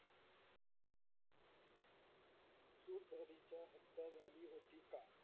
सुंदरीच्या हत्या झाली होती का